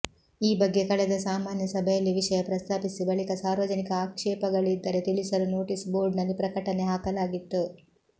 ಈ ಬಗ್ಗೆ ಕಳೆದ ಸಾಮಾನ್ಯ ಸಭೆಯಲ್ಲಿ ವಿಷಯ ಪ್ರಸ್ತಾಪಿಸಿ ಬಳಿಕ ಸಾರ್ವಜನಿಕ ಆಕ್ಷೇಪಗಳಿದ್ದರೆ ತಿಳಿಸಲು ನೋಟಿಸ್ ಬೋರ್ಡ್ನಲ್ಲಿ ಪ್ರಕಟನೆ ಹಾಕಲಾಗಿತ್ತು